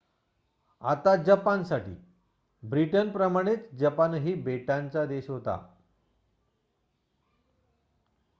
आता जपानसाठी ब्रिटनप्रमाणेच जपानही बेटाचा देश होता